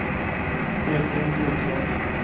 Edvin Wiklund